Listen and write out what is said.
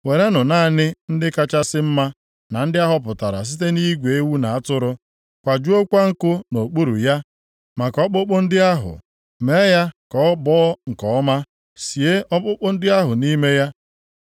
Werenụ naanị ndị kachasị mma na ndị ahọpụtara site nʼigwe ewu na atụrụ, kwajuokwa nkụ nʼokpuru ya maka ọkpụkpụ ndị ahụ, mee ya ka ọ gbọọ nke ọma, sie ọkpụkpụ ndị ahụ nʼime ya.